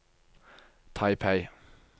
Taipei